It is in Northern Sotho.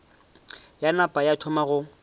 ya napa ya thoma go